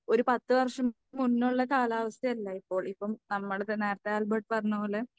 ഒരു പത്ത് വർഷം മുന്നേയുള്ള കാലാവസ്ഥയല്ല ഇപ്പോൾ. ഇപ്പോ നമ്മൾക്ക് നേരത്തെ ആൽബർട്ട് പറഞ്ഞപോലെ